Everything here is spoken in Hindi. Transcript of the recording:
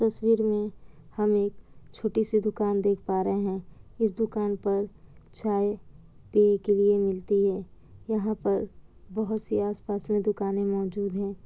तस्वीर में हम एक छोटी-सी दुकान देख पा रहे हैं। इस दुकान पर चाय पीने के लिए मिलती है। यहाँ पर बहुत सी आस-पास में दुकानें मौजूद हैं।